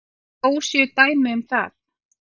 Þó séu dæmi um það.